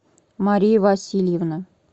мария васильевна